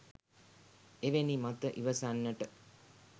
එවැනි මත ඉවසන්නට